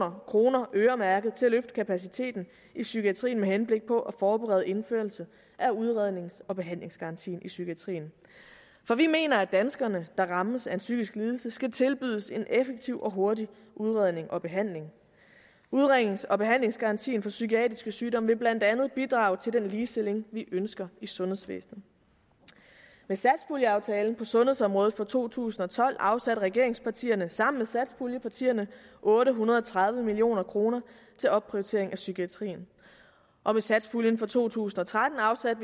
kroner øremærket til at løfte kapaciteten i psykiatrien med henblik på forberede indførelse af udrednings og behandlingsgarantien i psykiatrien for vi mener at danskerne der rammes af en psykisk lidelse skal tilbydes en effektiv og hurtig udredning og behandling udrednings og behandlingsgarantien for psykiatriske sygdomme vil blandt andet bidrage til den ligestilling vi ønsker i sundhedsvæsenet med satspuljeaftalen på sundhedsområdet for to tusind og tolv afsatte regeringspartierne sammen med satspuljepartierne otte hundrede og tredive million kroner til opprioritering af psykiatrien og med satspuljen for to tusind og tretten afsatte